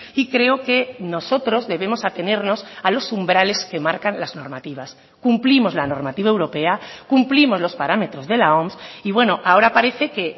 y creo que nosotros debemos atenernos a los umbrales que marcan las normativas cumplimos la normativa europea cumplimos los parámetros de la oms y bueno ahora parece que